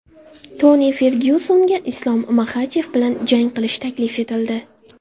Toni Fergyusonga Islom Maxachev bilan jang qilish taklif etildi.